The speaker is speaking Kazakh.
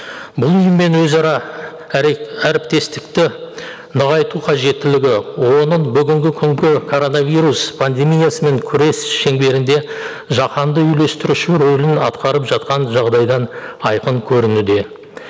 бұл ұйыммен өзара әріптестікті нығайту қажеттілігі оның бүгінгі күнгі коронавирус пандемиясының күрес шеңберінде жаһанды үйлестіруші рөлін атқарып жатқан жағдайдан айқын көрінуде